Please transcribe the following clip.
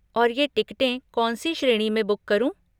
और ये टिकटें कौन सी श्रेणी में बुक करूँ?